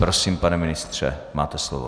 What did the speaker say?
Prosím, pane ministře, máte slovo.